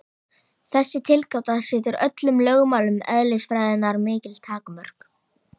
Þessi tilgáta setur öllum lögmálum eðlisfræðinnar mikil takmörk.